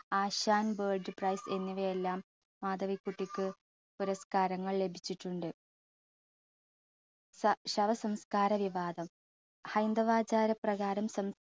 ആശാൻ world prize എന്നിവയെല്ലാം മാധവിക്കുട്ടിക്ക് പുരസ്കാരങ്ങൾ ലഭിച്ചിട്ടുണ്ട്. ശ~ശവ സംസ്കാര വിഭാഗം, ഹൈന്ദവ ആചാരപ്രകാരം